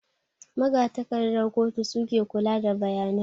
Magatakardan kotu suke kula da bayanai